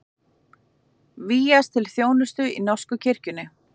Vígjast til þjónustu í norsku kirkjunni